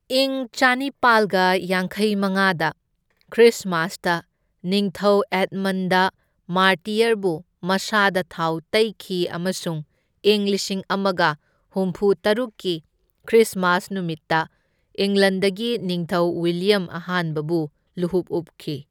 ꯏꯪ ꯆꯅꯤꯄꯥꯜꯒ ꯌꯥꯡꯈꯩ ꯃꯉꯥꯗ ꯈ꯭ꯔꯤꯁꯃꯥꯁꯇ ꯅꯤꯡꯊꯧ ꯑꯦꯗꯃꯟ ꯗ ꯃꯥꯔꯇꯤꯌꯔꯕꯨ ꯃꯁꯥꯗ ꯊꯥꯎ ꯇꯩꯈꯤ ꯑꯃꯁꯨꯡ ꯏꯪ ꯂꯤꯁꯤꯡ ꯑꯃꯒ ꯍꯨꯝꯐꯨꯇꯔꯨꯛꯀꯤ ꯈ꯭ꯔꯤꯁꯃꯥꯁ ꯅꯨꯃꯤꯠꯇ ꯏꯪꯂꯟꯗꯒꯤ ꯅꯤꯡꯊꯧ ꯋꯤꯂꯤꯌꯝ ꯑꯍꯥꯟꯕꯕꯨ ꯂꯨꯍꯨꯞ ꯎꯞꯈꯤ꯫